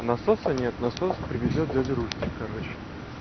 насоса нет насоса привезёт дядя рустик короче